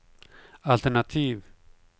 altenativ